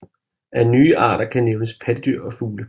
Af nye arter kan nævnes pattedyr og fugle